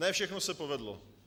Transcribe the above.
Ne všechno se povedlo.